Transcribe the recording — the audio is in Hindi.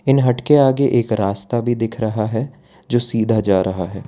इन हट के आगे एक रास्ता भी दिख रहा है जो सीधा जा रहा है।